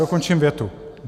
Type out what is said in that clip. Dokončím větu.